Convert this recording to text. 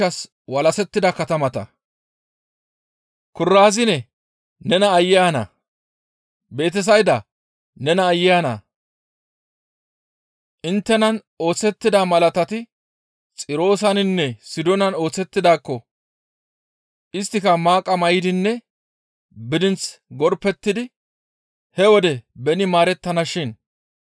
«Kuraziine nees aayye ana! Betesayda nees aayye ana! Inttenan oosettida malaatati Xirooseninne Sidoonan oosettidaakko isttika maaqa may7idinne bidinth gorpettidi he wode beni maarettanashin.